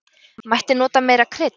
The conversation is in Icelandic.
Mætti nota meira krydd.